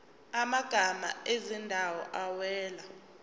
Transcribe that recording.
amagama ezindawo awela